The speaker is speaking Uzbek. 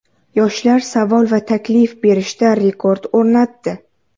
Yoshlar savol va taklif berishda rekord o‘rnatdi.